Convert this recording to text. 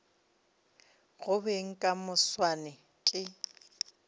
go beng ka moswane ke